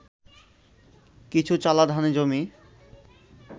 কিছু চালা-ধানি জমি